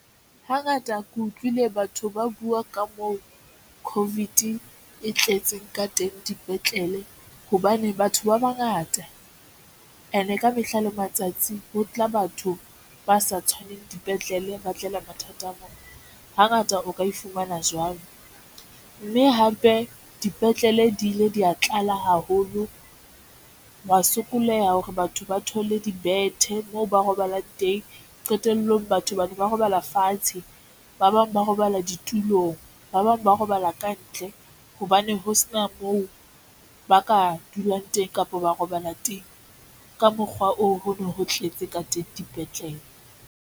Hangata ke utlwile batho ba buwa ka moo COVID e tletseng ka teng dipetlele, hobane batho ba bangata and ka mehla le matsatsi ho tla batho ba sa tshwaneng mme dipetlele ba tlelwa mathata a mo hangata o ka e fumana jwang mme hape dipetlele di ile dia tlala haholo wa sokoleha hore batho ba thole dibethe moo ba robalang teng. Qetellong batho bana ba robala fatshe, ba bang ba robala ditulong, ba bang ba robala kantle hobane ho se na moo ba ka dulang teng kapa ba robala teng. Ka mokgwa oo ho no ho tletse ka teng dipetlele.